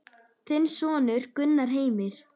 Þinn sonur, Gunnar Heimir.